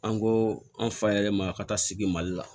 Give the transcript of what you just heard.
An ko an fa yɛlɛma ka taa sigi mali la